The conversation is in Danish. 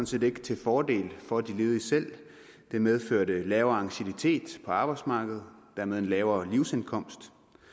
set ikke til fordel for de ledige selv det medførte lavere anciennitet på arbejdsmarkedet og dermed en lavere livsindkomst